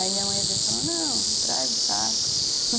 Aí minha mãe às vezes fala, não, traz o saco